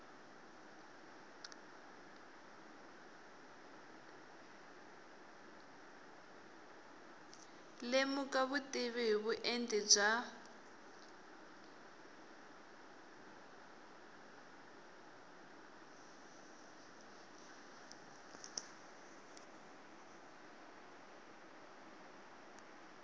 lemuka vutivi hi vuenti bya